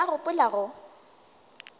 o be a gopola go